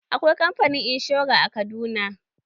Akwai kamfani inshora a Kaduna.